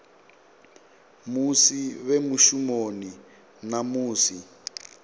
musi vhe mushumoni na musi